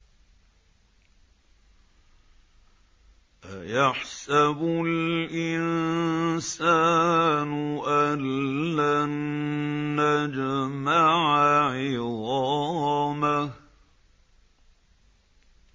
أَيَحْسَبُ الْإِنسَانُ أَلَّن نَّجْمَعَ عِظَامَهُ